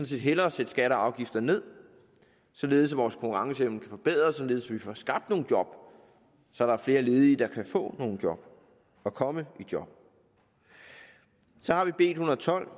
set hellere sætte skatter og afgifter ned således at vores konkurrenceevne kan forbedres således at vi får skabt nogle job så der er flere ledige der kan få nogle job og komme i job så har vi b en hundrede og tolv